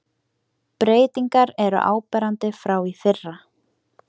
Breytingar eru áberandi frá í fyrra